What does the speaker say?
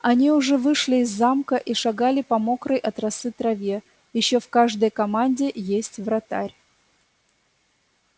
они уже вышли из замка и шагали по мокрой от росы траве ещё в каждой команде есть вратарь